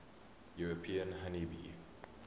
european honey bee